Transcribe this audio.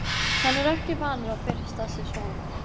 Hann er ekki vanur að byrsta sig svona.